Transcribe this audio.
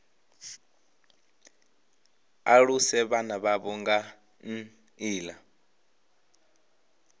aluse vhana vhavho nga nḓila